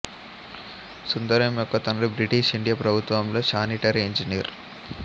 సుందరం యొక్క తండ్రి British India ప్రభుత్వంలో శానిటరీ ఇంజనీర్